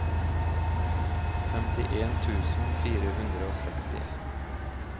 femtien tusen fire hundre og sekstien